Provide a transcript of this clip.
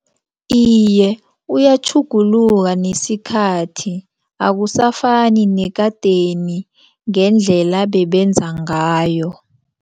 Iye, uyatjhuguluka nesikhathi akusafani nekadeni ngendlela bebenza ngayo.